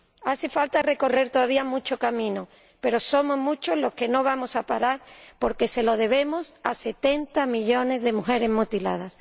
Hace falta recorrer todavía mucho camino, pero somos muchos los que no vamos a parar porque se lo debemos a 70 millones de mujeres mutiladas.